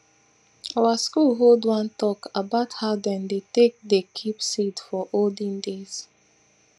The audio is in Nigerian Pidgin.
our school hold one talk about how dem dem take dey keep seed for olden days